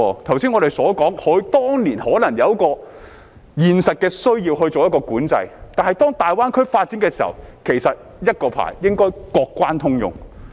剛才我們說，當年可能有現實的需要作管制，但當大灣區發展時，其實一個牌照應該各關通用。